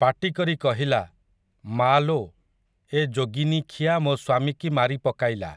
ପାଟି କରି କହିଲା, ମାଆଲୋ, ଏ ଯୋଗିନୀଖିଆ ମୋ ସ୍ୱାମୀକି ମାରି ପକାଇଲା ।